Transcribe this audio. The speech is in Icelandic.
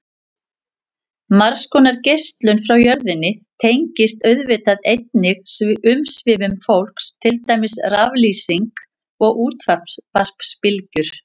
Margs konar geislun frá jörðinni tengist auðvitað einnig umsvifum fólks, til dæmis raflýsing og útvarpsbylgjur.